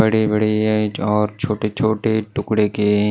बड़े-बड़े और छोटे-छोटे टुकड़ों के --